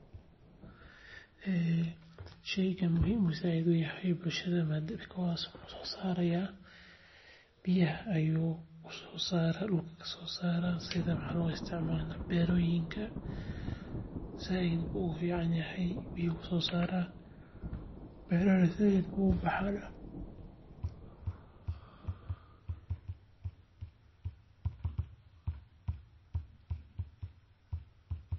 Sheygan muhiim ayuu sait uyahay bulshada biyaha ayuu dulka kasoo saraya sait ayuu ufican yahay beeraha sait ayeey ubaxaana.